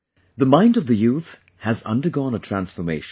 The mind of the youth has undergone a transformation